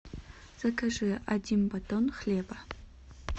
закажи один батон хлеба